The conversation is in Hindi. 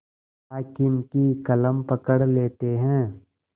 हाकिम की कलम पकड़ लेते हैं